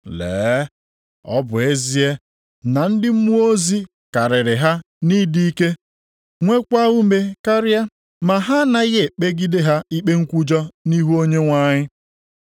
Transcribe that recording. Lee, ọ bụ ezie na ndị mmụọ ozi karịrị ha nʼịdị ike, nweekwa ume karịa, ma ha anaghị e kpegide ha ikpe nkwujọ nʼihu Onyenwe anyị.